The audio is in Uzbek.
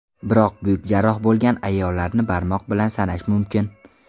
Biroq buyuk jarroh bo‘lgan ayollarni barmoq bilan sanash mumkin.